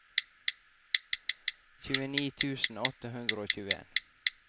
tjueni tusen åtte hundre og tjueen